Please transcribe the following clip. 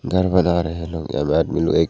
घर बना रहे है लोग आम आदमी लोग एक--